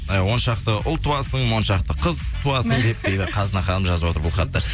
і он шақты ұл туасың моншақты қыз туасың деп дейді қазына ханым жазып отыр бұл хатты